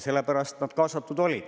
Sellepärast nad kaasatud olid.